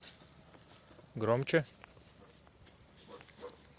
громче